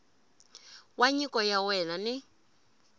wa nyiko ya wena ni